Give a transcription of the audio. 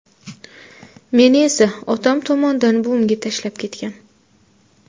Meni esa otam tomondan buvimga tashlab ketgan.